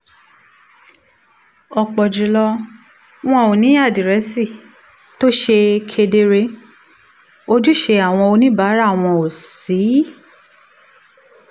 ọ̀pọ̀ jù lọ wọn ò ní àdírẹ́sì tó ṣe kedere ojúṣe àwọn oníbàárà wọn ò sì